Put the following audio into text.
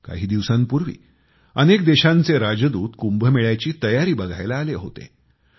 काही दिवसांपूर्वी अनेक देशांचे राजदूत कुंभमेळ्याची तयारी बघायला आले होते